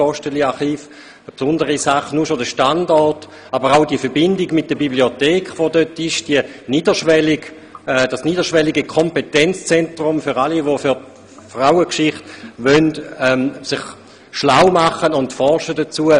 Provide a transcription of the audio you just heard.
Dies gilt alleine schon wegen des Standorts, aber auch wegen der Verbindung mit der dort vorhandenen Bibliothek, als niederschwelliges Kompetenzzentrum für alle, die sich über Frauengeschichte schlau machen und diese erforschen wollen.